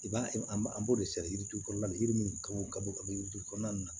I b'a ye an b'a an b'o de sɛbɛn yiritu kɔrɔla de yiri min kaw ka bɔ ka yirituru kɔnɔna na